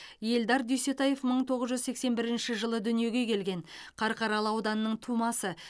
эльдар дүйсетаев мың тоғыз жүз сексен бірінші жылы дүниеге келген қарқаралы ауданының тумасы